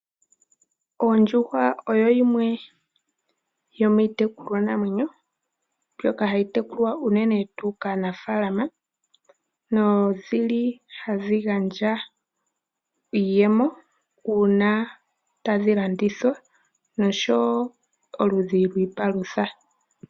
Oondjuhwa odho dhimwe dhomiitekulwa namwenyo mbyoka hayi tekulwa uunene tuu kaanafaalama, nodhili hadhi gandja iiyemo uuna tadhi landithwa, nosho wo oludhi lwiipalutha.